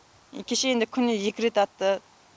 кеше енді күніне екі рет атты